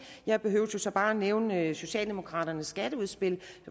jeg behøver så bare at nævne socialdemokraternes skatteudspil